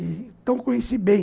Então conheci bem.